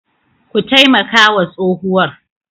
Ku taimaka wa tsohuwar.